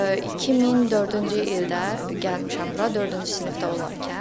2004-cü ildə gəlmişəm bura, dördüncü sinifdə olarkən.